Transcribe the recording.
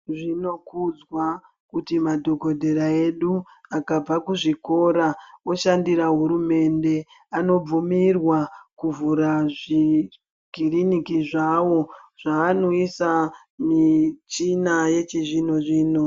Zvinokudzwa kuti madhokodheya edu akabva kuzvikora oshandira hurumende, anobvumirwa kuvhura zvikiriniki zvawo zvavanoisa michina yechizvino zvino.